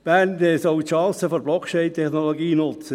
Bern soll die Chancen der Blockchain-Technologie nutzen.